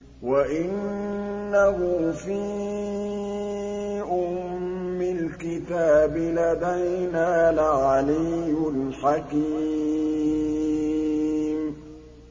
وَإِنَّهُ فِي أُمِّ الْكِتَابِ لَدَيْنَا لَعَلِيٌّ حَكِيمٌ